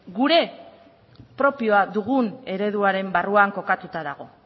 gure propioa dugun ereduaren barruan kokatuta dago